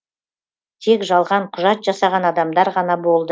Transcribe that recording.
тек жалған құжат жасаған адамдар ғана болды